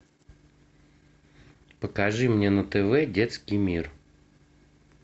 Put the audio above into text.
покажи мне на тв детский мир